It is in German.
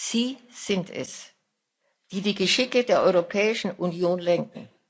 Sie sind es, die die Geschicke der Europäischen Union lenken.